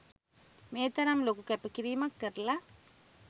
මේ තරම් ලොකු කැපකිරීමක් කරලා